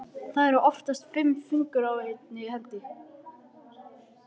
Það eru oftast fimm fingur á einni hendi.